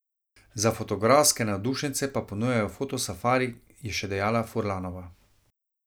Za fotografske navdušence pa ponujajo fotosafari, je še dejala Furlanova.